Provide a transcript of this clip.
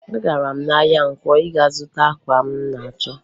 Agara m ahịa nkwọ ịga zụta akwa m na-achọ